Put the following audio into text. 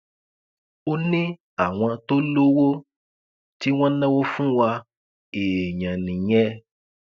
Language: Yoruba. ó ní àwọn tó lowó tí wọn náwó fún wa èèyàn nìyẹn